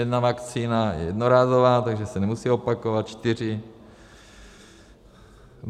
Jedna vakcína je jednorázová, takže se nemusí opakovat, čtyři...